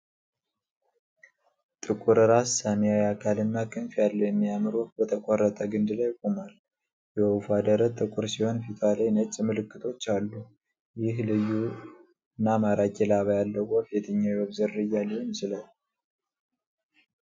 ጥቁር ራስ፣ ሰማያዊ አካልና ክንፍ ያለው የሚያምር ወፍ በተቆረጠ ግንድ ላይ ቆሟል። የወፏ ደረት ጥቁር ሲሆን ፊቷ ላይ ነጭ ምልክቶች አሉ። ይህ ልዩ እና ማራኪ ላባ ያለው ወፍ የትኛው የወፍ ዝርያ ሊሆን ይችላል?